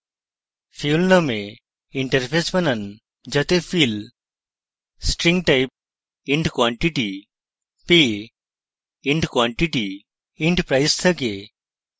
fuel নামে interface বানান যাতে fill string type int quantity pay int quantity int price থাকে